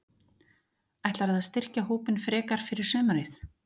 Ætlarðu að styrkja hópinn frekar fyrir sumarið?